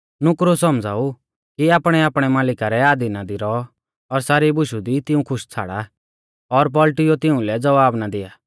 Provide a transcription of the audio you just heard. नुकरु सौमझ़ाऊ कि आपणैआपणै मालिका रै अधीना दी रौआ और सारी बुशु दी तिऊं खुश छ़ाड़ा और पौल़टुइयौ तिउंलै ज़वाब ना दिया